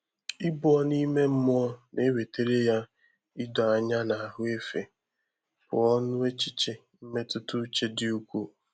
Íbù ọ́nụ́ ímé mmụ́ọ́ nà-èwétárá yá ídòányá nà áhụ́ éfé pụ́ọ́ n’échíché mmétụ́tà úchè dị́ úkwúù.